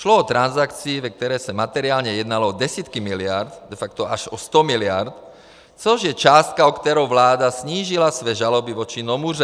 Šlo o transakci, ve které se materiálně jednalo o desítky miliard, de facto až o 100 miliard, což je částka, o kterou vláda snížila své žaloby vůči Nomuře.